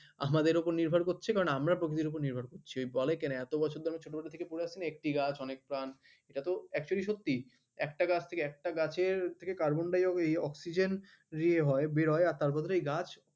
আমাদের উপর নির্ভর করছে কারণ আমরা প্রকৃতির উপর নির্ভর করছি। ওই বলে কেন এত বছর ধরে আমি ছোটবেলা থেকে পড়ে আসছি না একটি গাছ অনেক প্রাণ। এটাতো actually সত্যি। একটা গাছ থেকে একটা গাছের থেকে কার্বন ডাই এই অক্সিজেন ইয়ে হয় বের হয় তার বদলে এই গাছ